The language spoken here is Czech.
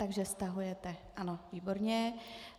Takže stahujete, ano, výborně.